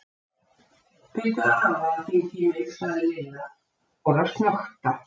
Biddu afa að hringja í mig sagði Lilla og fór að snökta.